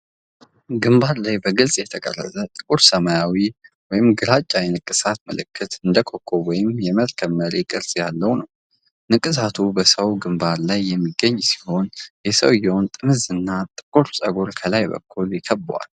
ግንባር ላይ በግልጽ የተቀረጸ ጥቁር ሰማያዊ ወይም ግራጫማ የንቅሳት ምልክት እንደ ኮከብ ወይም የመርከብ መሪ ቅርጽ ያለው ነው። ንቅሳቱ በሰው ግንባር ላይ የሚገኝ ሲሆን፣ የሰውየው ጥምዝ እና ጥቁር ፀጉር ከላይ በኩል ይከበዋል።